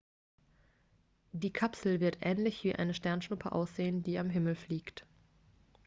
die kapsel wird ähnlich wie eine sternschuppe aussehen die am himmel fliegt